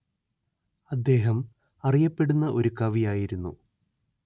അദ്ദേഹം അറിയപ്പെടുന്ന ഒരു കവി ആയിരുന്നു